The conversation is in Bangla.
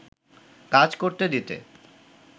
কাজ করতে দিতে